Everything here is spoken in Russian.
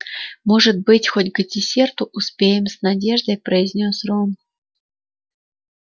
может быть хоть к десерту успеем с надеждой произнёс рон